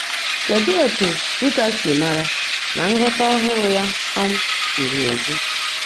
Kedụ etu Luther si mara na nghọta ọhụrụ ya um ziri ezi?